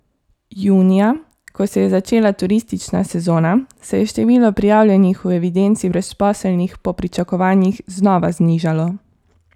Junija, ko se je začela turistična sezona, se je število prijavljenih v evidenci brezposelnih po pričakovanjih znova znižalo.